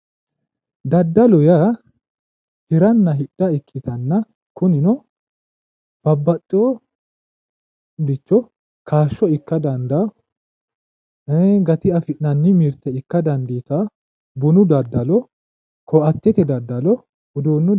Daddallu yaa hiranna hidha ikkittanna kunino babbaxeyoricho kaasho ikka dandano gati afi'nanni mirte ikka dandiittano, bunu daddallo koattete daddallo uduunu daddallo